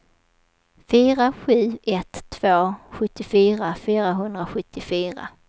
fyra sju ett två sjuttiofyra fyrahundrasjuttiofyra